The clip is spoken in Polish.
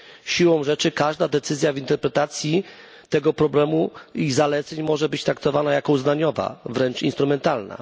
Siłą rzeczy każda decyzja w interpretacji tego problemu i zaleceń może być traktowana jako uznaniowa, wręcz instrumentalna.